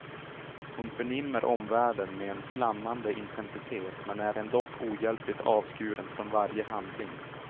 Hon förnimmer omvärlden med en flammande intensitet men är ändock ohjälpligt avskuren från varje handling.